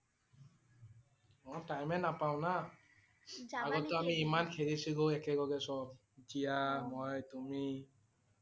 অ' time এ নাপাওঁ না। আগতে আমি খেলিছিল একেলগে সব । জীয়া, মই, তুমি